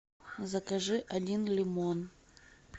закажи один лимон